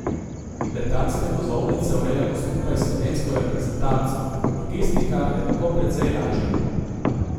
Letalske vozovnice urejamo skupaj s slovensko reprezentanco, logistika je tako precej lažja.